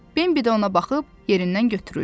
Bembi də ona baxıb yerindən götürüldü.